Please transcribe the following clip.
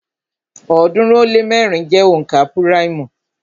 ọ̀ọ́dúnrún ó lé mẹ́rin jẹ́ onka púráìmù